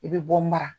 I bɛ bɔ mara